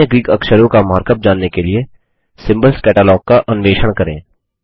अन्य ग्रीक अक्षरों का मार्क अप जानने के लिए सिम्बोल्स कैटलॉग का अन्वेषण करें